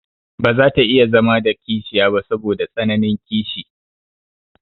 Baza ta iya zama da kishiya ba saboda tsananin kishi.